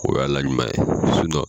O y'ala ɲuman ye sinɔn